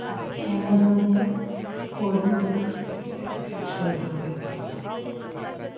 Amazon वर coding books शोधा